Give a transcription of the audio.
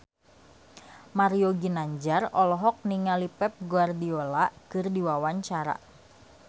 Mario Ginanjar olohok ningali Pep Guardiola keur diwawancara